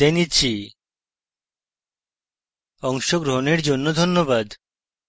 অংশগ্রহনের জন্যে ধন্যবাদ